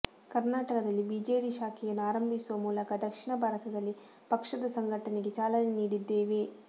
ಕರ್ನಾಟದಲ್ಲಿ BJD ಶಾಖೆಯನ್ನು ಆರಂಭಿಸುವ ಮೂಲಕ ದಕ್ಷಿಣ ಭಾರತದಲ್ಲಿ ಪಕ್ಷದ ಸಂಘಟನೆಗೆ ಚಾಲನೆ ನೀಡಿದ್ದೇವೆ